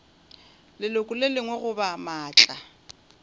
leloko le lengwe goba maatla